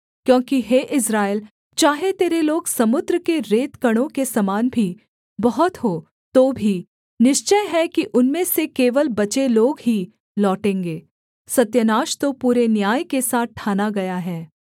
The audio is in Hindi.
क्योंकि हे इस्राएल चाहे तेरे लोग समुद्र के रेतकणों के समान भी बहुत हों तो भी निश्चय है कि उनमें से केवल बचे लोग ही लौटेंगे सत्यानाश तो पूरे न्याय के साथ ठाना गया है